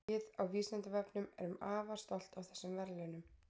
Við á Vísindavefnum erum afar stolt af þessum verðlaunum.